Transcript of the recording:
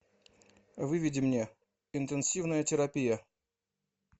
выведи мне интенсивная терапия